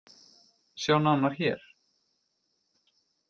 Sjá nánar hér